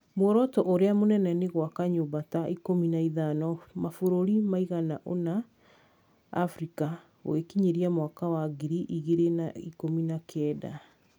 Muoroto ũrĩa mũnene nĩ gwaka nyũmba ta ikũmi na ithano mabũrũri maigana ona Afrika, gũgĩkinyĩria mwaka wa ngiri igĩrĩ na ikũmi na kenda.